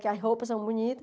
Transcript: Que as roupas são bonitas.